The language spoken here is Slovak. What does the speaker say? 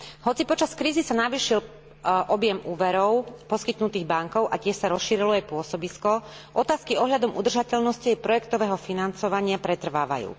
Hoci počas krízy sa navýšil objem úverov poskytnutých bankou a tiež sa rozšírilo jej pôsobisko, otázky ohľadom udržateľnosti jej projektového financovania pretrvávajú.